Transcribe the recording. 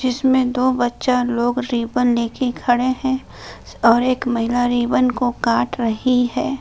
इसमें दो बच्चा लोग रिब्बन लेकर खड़े है और एक महिला रिब्बन को काट रही है।